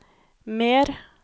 mer